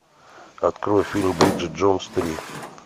открой фильм бриджит джонс три